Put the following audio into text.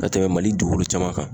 Ka tɛmɛ mali dugukolo caman kan.